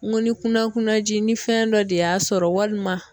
N ko ni kunakunaji ni fɛn dɔ de y'a sɔrɔ walima